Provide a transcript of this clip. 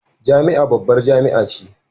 Jami'a babbar jami'a ce